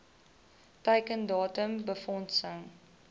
teiken datum befondsing